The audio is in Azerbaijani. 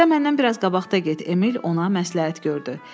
Sən məndən biraz qabaqda get, Emil ona məsləhət gördü.